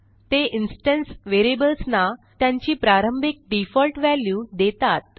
ते इन्स्टन्स variablesना त्यांची प्रारंभिक डिफॉल्ट वॅल्यू देतात